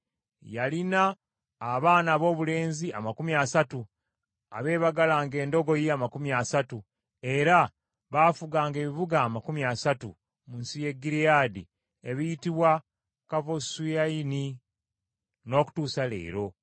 Yalina abaana aboobulenzi amakumi asatu abeebagalanga endogoyi amakumi asatu, era baafuganga ebibuga amakumi asatu, mu nsi ya Gireyaadi ebiyitibwa Kavosu Yayiri n’okutuusa leero.